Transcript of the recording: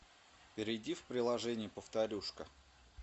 перейди в приложение повторюшка